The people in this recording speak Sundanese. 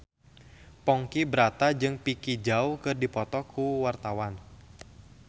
Ponky Brata jeung Vicki Zao keur dipoto ku wartawan